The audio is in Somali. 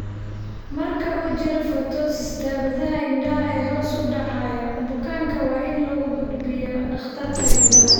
Marka uu jiro ptosis (dabadaha indhaha ee hoos u dhacaya), bukaanka waa in loo gudbiyaa dhakhtarka indhaha.